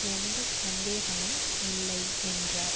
எந்த சந்தேகமும் இல்லை என்றார்